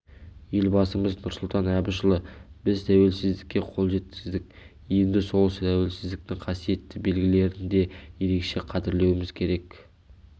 елбасымыз нұрсұлтан әбішұлы біз тәуелсіздікке қол жеткіздік енді сол тәуелсіздіктің қасиетті белгілерін де ерекше қадірлеуіміз керек